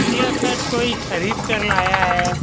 यह शर्ट कोई खरीदकर लाया है।